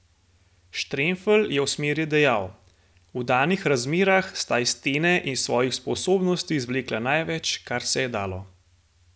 Štremfelj je o smeri dejal: "V danih razmerah sta iz stene in svojih sposobnosti izvlekla največ, kar se je dalo.